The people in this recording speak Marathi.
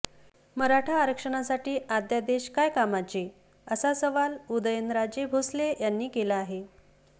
मराठा आरक्षणासाठी अद्यादेश काय कामाचे असा सवाल उदयनराजे भोसले यांनी केला आहे